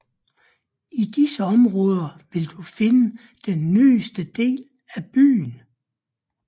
I disse områder vil du finde den nyeste del af byen